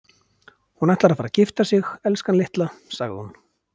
Hún ætlar að fara að gifta sig, elskan litla, sagði hún.